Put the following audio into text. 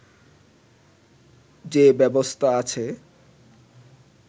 যে ব্যবস্থা আছে